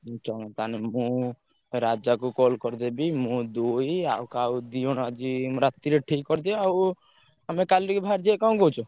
ପାଞ୍ଚ ଜଣ ତାହାଲେ ମୁଁ ରାଜାକୁ call କରିଦେବି ମୁଁ ଦୁଇ ଆଉ କାହାକୁ ଦି ଜଣ ରାଜି ରାତିରେ ଠିକ୍ କରିଦିଏ ଆଉ ଆମେ କାଲିକି ବାହାରିଯିବା। କଣ କହୁଛ?